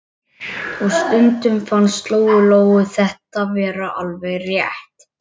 Og stundum fannst Lóu Lóu þetta vera alveg rétt.